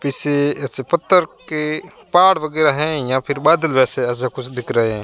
किसी पत्थर के पार वगैरा है या फिर बादल जैसे कुछ दिख रहे--